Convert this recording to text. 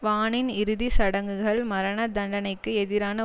வானின் இறுதி சடங்குகள் மரண தண்டனைக்கு எதிரான